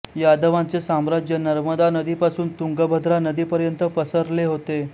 यादवांचे साम्राज्य नर्मदा नदीपासून तुंगभद्रा नदीपर्यंत पसरले होते